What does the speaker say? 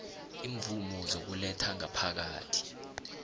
imvumo zokuletha ngaphakathi